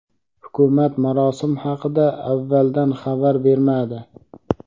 Hukumat marosim haqida avvaldan xabar bermadi.